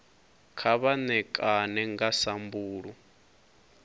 kha vha ṋekane nga sambulu